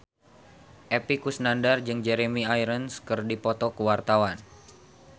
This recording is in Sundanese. Epy Kusnandar jeung Jeremy Irons keur dipoto ku wartawan